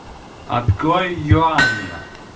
открой иоанна